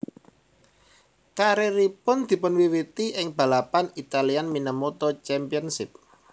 Karieripun dipunwiwiti ing balapan Italian Minimoto Championship